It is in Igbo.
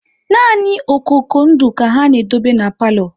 Nani okoko ndụ ka ha na-edobe n'palo